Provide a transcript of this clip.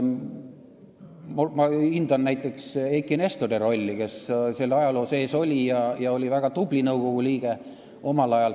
Ma hindan näiteks Eiki Nestori rolli, kes selle ajaloo sees on olnud ja oli omal ajal väga tubli nõukogu liige.